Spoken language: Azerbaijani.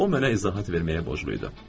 O mənə izahat verməyə borclu idi.